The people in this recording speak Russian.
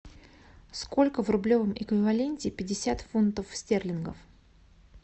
сколько в рублевом эквиваленте пятьдесят фунтов стерлингов